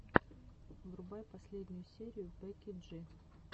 врубай последнюю серию бекки джи